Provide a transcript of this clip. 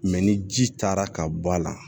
ni ji taara ka bɔ a la